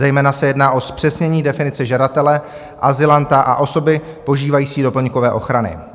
Zejména se jedná o zpřesnění definice žadatele azylanta a osoby požívající doplňkové ochrany.